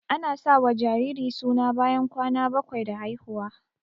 Ana sa wa jariri suna bayan kwana bakwai da haihuwa